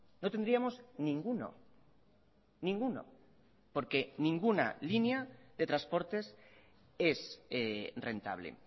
no tendríamos ninguno ninguno porque ninguna línea de transportes es rentable